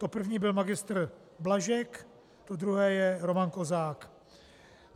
To první byl magistr Blažek, to druhé je Roman Kozák.